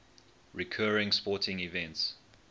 recurring sporting events